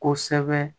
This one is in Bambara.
Kosɛbɛ